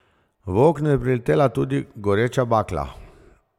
V okno je priletela tudi goreča bakla.